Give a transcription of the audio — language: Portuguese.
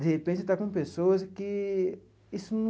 De repente, está com pessoas que isso num...